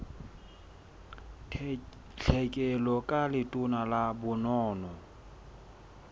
tlhekelo ka letona la bonono